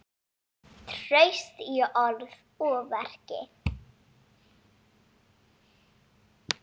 Traust í orði og verki.